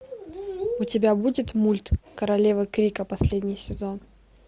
у тебя будет мульт королева крика последний сезон